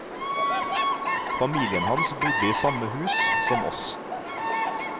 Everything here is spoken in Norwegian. Familien hans bodde i samme hus som oss.